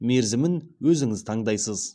мерізімін өзіңіз таңдайсыз